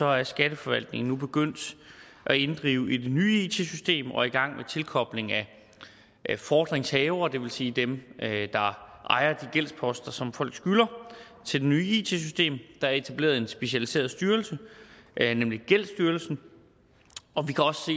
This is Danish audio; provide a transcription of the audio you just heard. er skatteforvaltningen nu begyndt at inddrive i det nye it system og er i gang med tilkoblingen af fordringshaverne det vil sige dem der ejer de gældsposter som folk skylder til det nye it system der er etableret en specialiseret styrelse gældsstyrelsen og vi kan også